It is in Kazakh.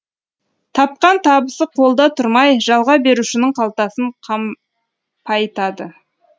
тапқан табысы қолда тұрмай жалға берушінің қалтасын қампайтады